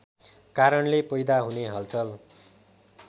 कारणले पैदा हुने हलचल